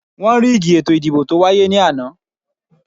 Wọ́n ríìgì ètò ìdìbò tó wáyé ní àná